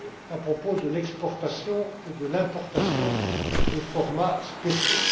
à propos de l'exportation et de l'importation des formats spéciaux.